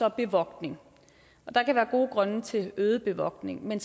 og bevogtning og der kan være gode grunde til øget bevogtning men